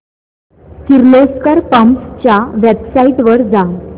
Kirloskar pumps च्या website वर जा